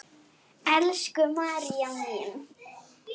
Elsku María mín.